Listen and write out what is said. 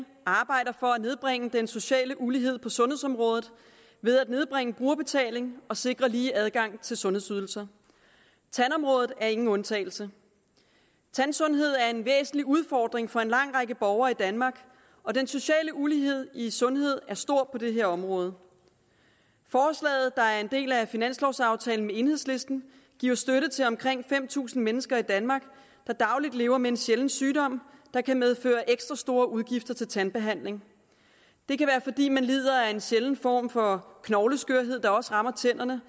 arbejder for at nedbringe den sociale ulighed på sundhedsområdet ved at nedbringe brugerbetalingen og sikre lige adgang til sundhedsydelser tandområdet er ingen undtagelse tandsundhed er en væsentlig udfordring for en lang række borgere i danmark og den sociale ulighed i sundhed er stor på det område forslaget der er en del af finanslovaftalen med enhedslisten giver støtte til omkring fem tusind mennesker i danmark der dagligt lever med en sjælden sygdom der kan medføre ekstra store udgifter til tandbehandling det kan være fordi man lider af en sjælden form for knogleskørhed der også rammer tænderne